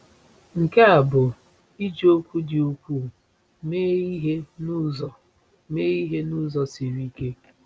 Nke a bụ iji okwu dị ukwuu mee ihe n’ụzọ mee ihe n’ụzọ siri ike.